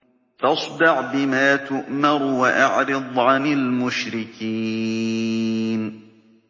فَاصْدَعْ بِمَا تُؤْمَرُ وَأَعْرِضْ عَنِ الْمُشْرِكِينَ